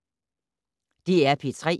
DR P3